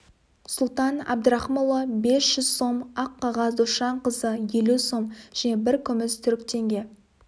сұлтан әбдірақымұлы бес жүз сом аққағаз досжанқызы елу сом және бір күміс түрік теңге